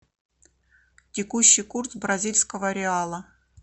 текущий курс бразильского реала